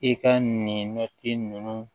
I ka nin ninnu